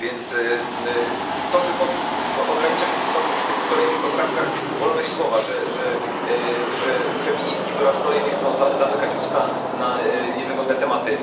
Więc to, że ogranicza się tu znowu w tych kolejnych poprawkach wolność słowa, że feministki po raz kolejny chcą zamykać usta na niewygodne tematy.